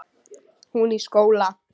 Hún í skóla.